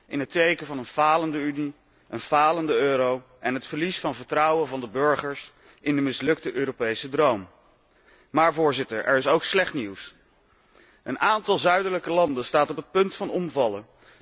2012 staat tot nu toe in het teken van een falende Unie, een falende euro en het verlies van vertrouwen van de burgers in de mislukte Europese droom. Maar, Voorzitter, er is ook slecht nieuws. Een aantal zuidelijke landen staat op het punt van omvallen.